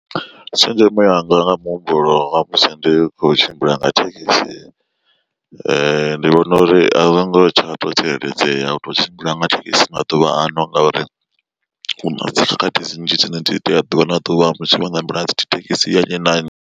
Tshenzhemo yanga nga muhumbulo wa musi ndi kho tshimbila nga thekhisi ndi vhona uri a zwongo tsha to tsireledzea u tou tshimbila nga thekhisi maḓuvha ano ngauri huna dzi khakhathi dzi nnzhi dzine ndi itea ḓuvha na ḓuvha musi wo ṋamela dzithekisi ya nnyi na nnyi.